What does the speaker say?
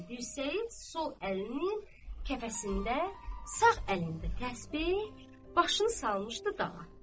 Sağ əlinin dirsəyi sol əlinin kəfəsində, sağ əlində təsbeh, başını salmışdı dağa.